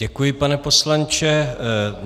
Děkuji, pane poslanče.